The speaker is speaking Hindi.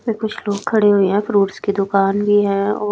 वे कुछ लोग खड़े हुए है फ्रूटस की दुकान भी है ओ--